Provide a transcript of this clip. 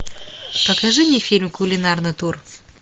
покажи мне фильм кулинарный тур